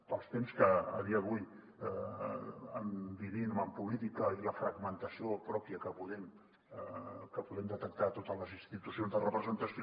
pels temps que a dia d’avui vivim en política i la fragmentació pròpia que podem detectar a totes les institucions de representació